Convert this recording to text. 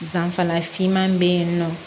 Danfara finman bɛ yen nɔ